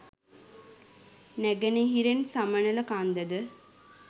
නැඟෙනහිරෙන් Samanala කන්දද